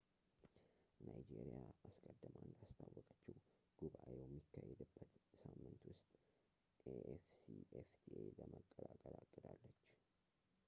ናይጄሪያ አስቀድማ እንዳስታወቀችው ጉባኤው በሚካሄድበት ሳምንት ውስጥ afcfta ለመቀላቀል አቅዳለች